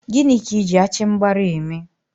Gịnị ka Ị ji achịmgbara eme?